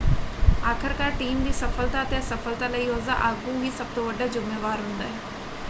ਆਖਰਕਾਰ ਟੀਮ ਦੀ ਸਫਲਤਾ ਅਤੇ ਅਸਫਲਤਾ ਲਈ ਉਸਦਾ ਆਗੂ ਹੀ ਸਭ ਤੋਂ ਵੱਡਾ ਜ਼ੁੰਮੇਵਾਰ ਹੁੰਦਾ ਹੈ।